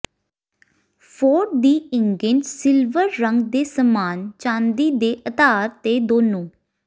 Ford ਦੀ ਇਗੈਂਟ silver ਰੰਗ ਦੇ ਸਮਾਨ ਚਾਂਦੀ ਦੇ ਆਧਾਰ ਤੇ ਦੋਨੋ